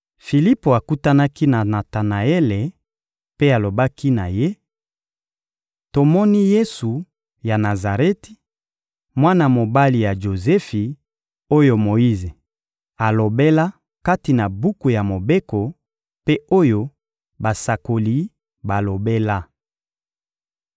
Filipo akutanaki na Natanaele mpe alobaki na ye: — Tomoni Yesu ya Nazareti, mwana mobali ya Jozefi, oyo Moyize alobela kati na buku ya Mobeko, mpe oyo basakoli balobela.